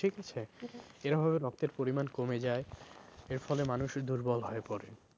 ঠিক আছে এর অভাবে রক্তের পরিমান কমে যায় এর ফলে মানুষ দুর্বল হয়ে পড়ে।